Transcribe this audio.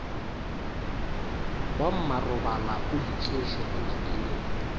wa mmarobalaoitsoše o napile o